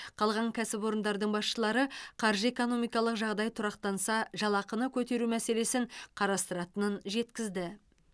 қалған кәсіпорындардың басшылары қаржы экономикалық жағдай тұрақтанса жалақыны көтеру мәселесін қарастыратынын жеткізді